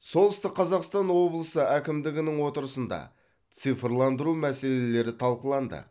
солтүстік қазақстан облысы әкімдігінің отырысында цифрландыру мәселелері талқыланды